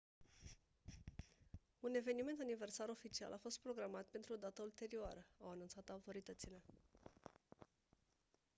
un eveniment aniversar oficial a fost programat pentru o dată ulterioară au anunțat autoritățile